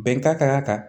Bɛnkan kan ka ta